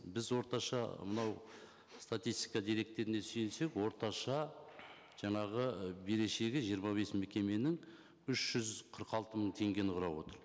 біз орташа мынау статистика деректеріне сүйенсек орташа жаңағы берешегі жиырма бес мекеменің үш жүз қырық алты мың теңгені құрап отыр